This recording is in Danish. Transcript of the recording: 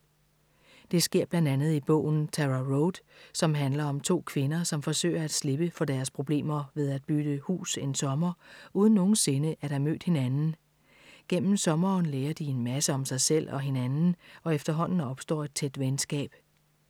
Det sker blandt andet i bogen Tara Road, som handler om to kvinder, som forsøger at slippe for deres problemer ved at bytte hus en sommer uden nogensinde at have mødt hinanden. Gennem sommeren lærer de en masse om sig selv og hinanden og efterhånden opstår et tæt venskab.